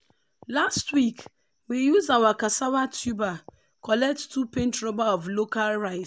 last week we use our cassava tuber collect two paint rubber of local rice.